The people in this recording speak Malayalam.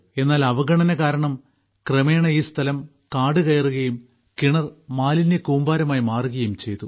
എന്നാൽ അവഗണന കാരണം ക്രമേണ ഈ സ്ഥലം കാടുകയറുകയും കിണർ മാലിന്യക്കൂമ്പാരമായി മാറുകയും ചെയ്തു